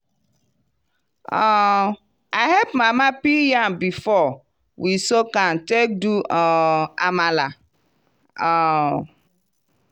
um i help mama peel yam before we soak am take do um amala. um